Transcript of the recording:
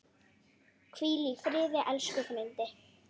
Hvíl í friði, elsku frændi.